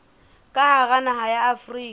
ka hara naha ya afrika